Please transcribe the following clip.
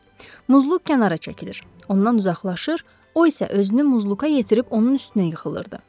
Muzluk kənara çəkilir, ondan uzaqlaşır, o isə özünü Muzluka yetirib onun üstünə yıxılırdı.